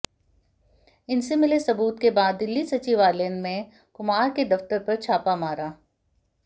इनसे मिले सबूत के बाद दिल्ली सचिवालय में कुमार के दफ्तर पर छापा मारा